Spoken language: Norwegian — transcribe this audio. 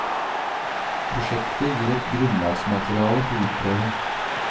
Prosjektet gir et grunnlagsmateriale for utprøving.